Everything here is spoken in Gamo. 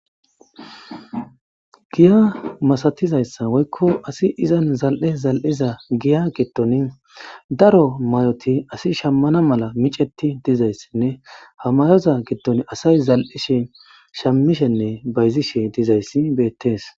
Hiya masatizayssa woykko asi izan zal'e zal'iza giya gitton daro may'oti asi shammana mala miceti dizayssinne hamayoza giddon asay zal'ishe shammishenne bayzishi dizayssi beettees.